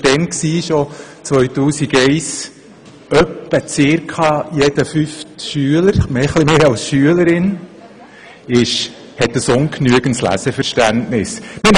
Schon im Jahr 2001 lautete das Ergebnis, dass etwa jeder fünfte Schüler ein ungenügendes Leseverständnis aufweist.